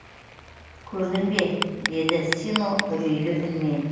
көрдің бе деді сино үрейлі үнмен